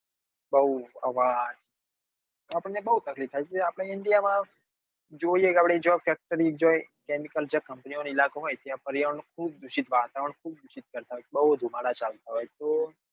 બઉ અવાજ આપણને બઉ તકલીફ થાય એટલે આપડે india જોઈએ કે આપડે જો factory જે chemical જ્યાં company વાળા ઇલાકા હોય ત્યાં પર્યાવરણ બઉ દુષિત વાતાવરણ ખુબ દુષિત બઉ ધુમાડા ચાલતા હોય તો